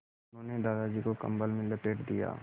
उन्होंने दादाजी को कम्बल में लपेट दिया